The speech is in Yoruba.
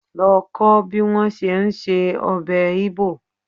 Lọ kó bí wọ́n ṣe ń se ọbẹ̀ Igbo.